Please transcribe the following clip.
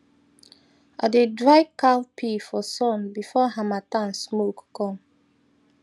i dey dry cowpea for sun before harmattan smoke come